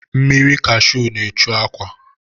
Mmiri kashu na-echu akwa.